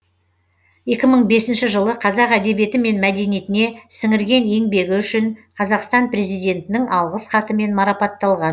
екі мың бесінші жылы қазақ әдебиеті мен мәдениетіне сіңірген еңбегі үшін қазақстан президентінің алғыс хатымен марапатталған